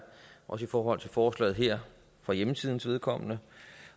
også i forhold til forslaget her for hjemmesidens vedkommende